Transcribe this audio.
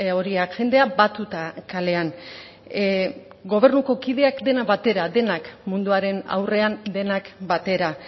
horiak jendea batuta kalean gobernuko kideak denak batera denak munduaren aurrean denak batera